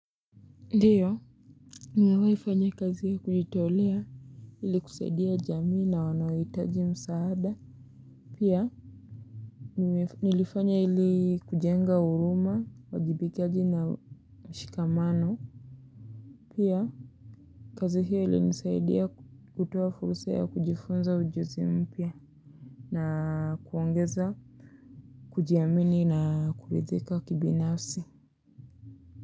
Ndiyo, nimewaifanya kazi ya kujitolea ili kusaidia jamii na wanaoitaji msaada. Pia, nilifanya ili kujenga huruma, wajibikaji na mshikamano. Pia, kazi hiyo ili nisaidia kutoa furusa ya kujifunza ujuzi mpia na kuongeza kujiamini na kulidhika kibinafsi.